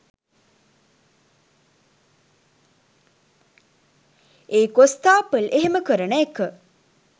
ඒ කොස්තාපල් එහෙම කරන එක